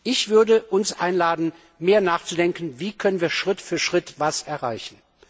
Ich würde uns einladen, mehr nachzudenken Wie können wir Schritt für Schritt was erreichen?